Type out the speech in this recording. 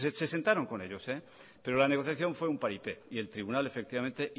se sentaron con ellos pero la negociación fue un paripé y el tribunal efectivamente